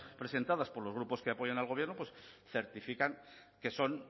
presentadas por los grupos que apoyan al gobierno pues certifican que son